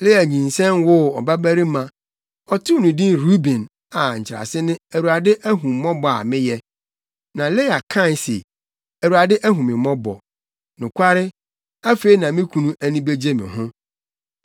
Lea nyinsɛn woo ɔbabarima. Ɔtoo no din Ruben a nkyerɛase ne “ Awurade ahu mmɔbɔ a meyɛ.” Na Lea kae se, “ Awurade ahu me mmɔbɔ. Nokware, afei na me kunu ani begye me ho.”